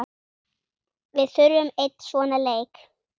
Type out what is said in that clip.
Við þurfum einn svona leik.